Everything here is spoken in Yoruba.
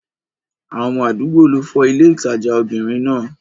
Àwọn ọmọ àdúgbò ló fọ́ ilé ìtajà obìnrin náà.